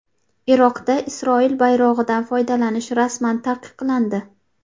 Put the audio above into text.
Iroqda Isroil bayrog‘idan foydalanish rasman taqiqlandi.